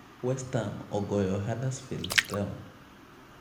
Westham ogoyo Huddersfield Town.